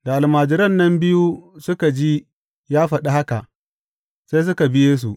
Da almajiran nan biyu suka ji ya faɗi haka, sai suka bi Yesu.